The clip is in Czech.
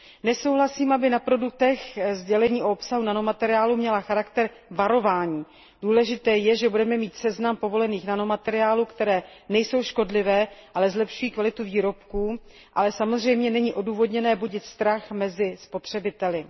Nesouhlasím, aby sdělení o obsahu nanomateriálu na produktech měla charakter varování. Důležité je, že budeme mít seznam povolených nanomateriálů, které nejsou škodlivé, ale zlepšují kvalitu výrobků, ale samozřejmě není odůvodněné budit strach mezi spotřebiteli.